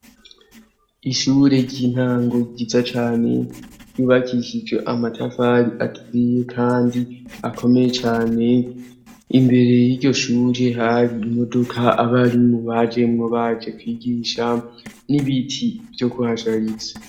Ishure ry'intango ryiza cane ryubakishije amatafari aturiye kandi akomeye cane ,imbere y'iryo shure hari imodoka abari mu baje kwigisha n'ibiti vyo kuhashariza.